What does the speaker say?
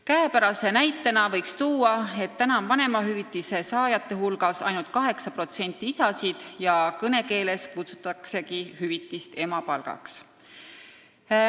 Käepärase tõendina võiks tuua, et vanemahüvitise saajate hulgas on ainult 8% isasid ja kõnekeeles kutsutaksegi seda hüvitist emapalgaks.